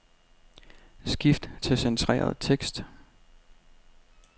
Skift til centreret tekst.